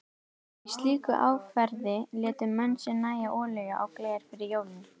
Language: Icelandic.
Í slíku árferði létu menn sér nægja olíu á gler fyrir jólin.